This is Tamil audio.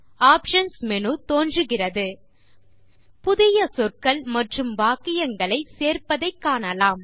ஆப்ஷன்ஸ் மேனு தோன்றுகிறது புதிய சொற்கள் மற்றும் வாக்கியங்களை சேர்ப்பதை காணலாம்